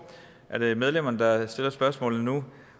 medlemmerne der stiller spørgsmålene nu